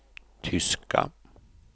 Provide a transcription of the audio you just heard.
tyska